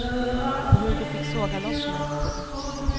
Och hur de fick såga loss mig. punkt